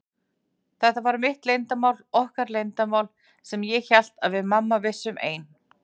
Þetta var mitt leyndarmál, okkar leyndarmál, sem ég hélt að við mamma vissum ein.